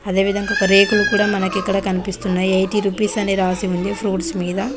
అదే విధంగా ఒక రేకులు కూడా మనకి ఇక్కడ కనిపిస్తున్నాయి ఎయిటీ రూపీస్ అని రాసి ఉంది ఫ్రూట్స్ మీద.